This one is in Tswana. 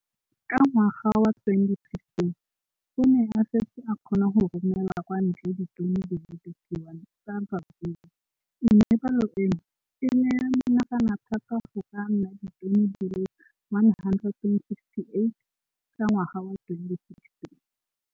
Ka ngwaga wa 2015, o ne a setse a kgona go romela kwa ntle ditone di le 31 tsa ratsuru mme palo eno e ne ya menagana thata go ka nna ditone di le 168 ka ngwaga wa 2016.